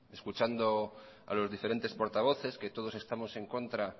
escuchando a los diferentes portavoces que todos estamos en contra